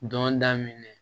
Dɔn daminɛ